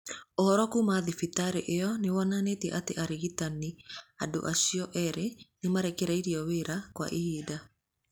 Ũhoro kuuma thibitarĩ ĩyo nĩ wonanĩtie atĩ arigitani andũ acio erĩ nĩ marekereirio wĩra kwa ihinda.